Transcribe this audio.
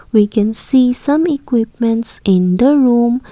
we can see some equipments in the room.